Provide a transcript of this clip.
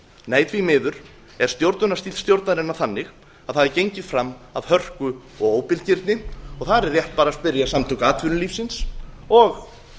nei því miður er stjórnunarstíll stjórnarinnar þannig að það er gengið fram af hörku og óbilgirni það er rétt bara að spyrja samtök atvinnulífsins og